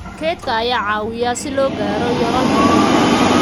Kaydka ayaa caawiya si loo gaaro yoolalka ururka.